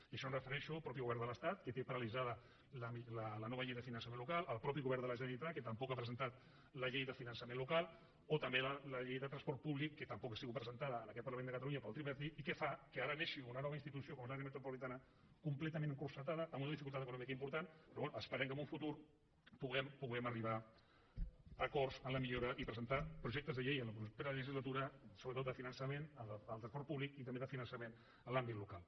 i això em refereixo al mateix govern de l’estat que té paralitzada la nova llei de finançament local al mateix govern de la generalitat que tampoc ha presentat la llei de finançament local o també la llei de transport públic que tampoc ha sigut presentada en aquest parlament de catalunya pel tripartit i que fa que ara neixi una nova institució com l’àrea metropolitana completament encotillada amb una dificultat econòmica important però bé esperem que en un futur puguem puguem arribar a acords en la millora i presentar projectes de llei en la propera legislatura sobretot de finançament en el transport públic i també de finançament en l’àmbit local